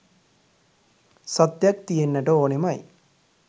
සත්‍යයක් තියෙන්නට ඕනෙමයි.